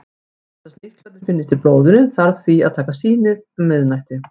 Til þess að sníklarnir finnist í blóðinu þarf því að taka sýnið um miðnætti.